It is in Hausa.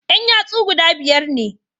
Yan yatsu guda biyar ne